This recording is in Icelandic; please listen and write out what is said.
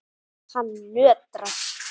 Hann nötrar.